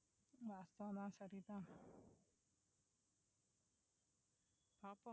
கஷ்டம் தான் சரி தான் பாப்போம்